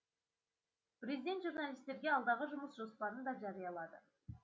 президент журналистерге алдағы жұмыс жоспарын да жариялады